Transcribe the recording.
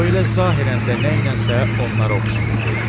O elə zahirən də nəylənsə onlara oxşayırdı.